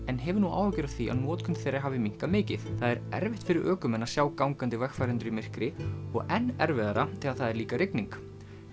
en hefur nú áhyggjur af því að notkun þeirra hafi minnkað mikið það er erfitt fyrir ökumenn að sjá gangandi vegfarendur í myrkri og enn erfiðara þegar það er líka rigning